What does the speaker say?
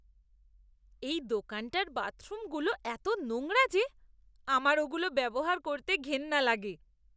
এই দোকানটার বাথরুমগুলো এতো নোংরা যে আমার ওগুলো ব্যবহার করতে ঘেন্না লাগে!